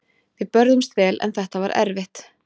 Við börðumst vel en þetta var erfitt.